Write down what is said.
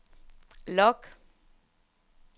log